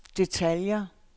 detaljer